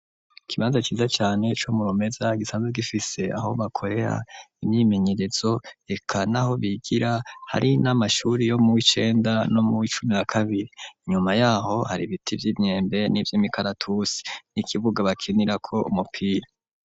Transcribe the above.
Ikibanza ciza cane, co mu Rumeza, gisanzwe gifise, aho bakorera imyimenyerezo, eka n'aho bigira; hari n'amashuri yo mu w'icenda, no mu w'icumi na kabiri; inyuma y'aho, hari ibiti vy'imyembe, n'ivy'imikaratusi, n'ikibuga bakinirako, umupira.